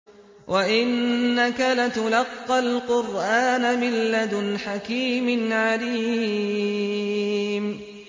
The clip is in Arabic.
وَإِنَّكَ لَتُلَقَّى الْقُرْآنَ مِن لَّدُنْ حَكِيمٍ عَلِيمٍ